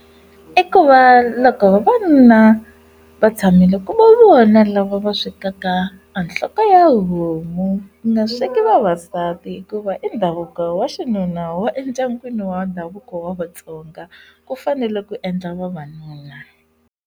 I ku va loko vavanuna va tshamile ku va vona lava swekaka anhloko ya homu. Ku nga sweswi vavasati hikuva i ndhavuko wa xinuna wa endyangwini wa ndhavuko wa vatsonga, ku fanele ku endla vavanuna.